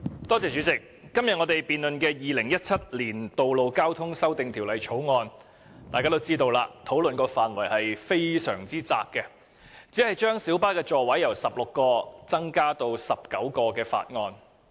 主席，我們今天討論的《2017年道路交通條例草案》，大家都知道討論範圍非常狹窄，因為這項法案只是將小巴座位數目由16個增至19個。